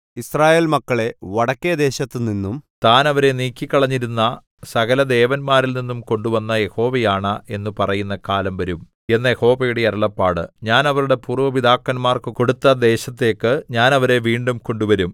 യിസ്രായേൽ മക്കളെ വടക്കെദേശത്തുനിന്നും താൻ അവരെ നീക്കിക്കളഞ്ഞിരുന്ന സകലദേശങ്ങളിൽനിന്നും കൊണ്ടുവന്ന യഹോവയാണ എന്നു പറയുന്ന കാലം വരും എന്ന് യഹോവയുടെ അരുളപ്പാട് ഞാൻ അവരുടെ പൂര്‍വ്വ പിതാക്കന്മാർക്കു കൊടുത്ത ദേശത്തേക്ക് ഞാൻ അവരെ വീണ്ടും കൊണ്ടുവരും